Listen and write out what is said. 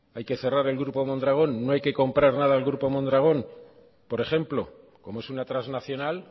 hay que cerrar el grupo mondragón no hay que comprar nada al grupo mondragón por ejemplo como es una transnacional